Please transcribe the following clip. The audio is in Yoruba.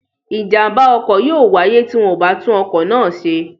Ìjàm̀bá ọkọ̀ yóò wáyé tí wọn ò bá tún ọkọ̀ náà ṣe.